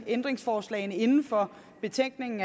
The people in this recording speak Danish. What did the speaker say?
ændringsforslag inden for betænkningen